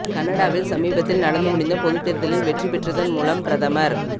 கனடாவில் சமீபத்தில் நடந்து முடிந்த பொதுத்தேர்தலில் வெற்றி பெற்றதன் மூலம் பிரதமர்